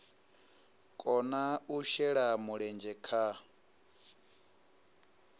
kona u shela mulenzhe kha